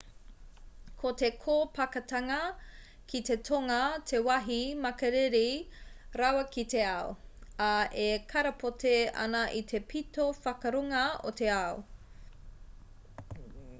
ko te kōpakatanga ki te tonga te wāhi makariri rawa ki te ao ā e karapoti ana i te pito whakarunga o te ao